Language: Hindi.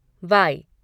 वाई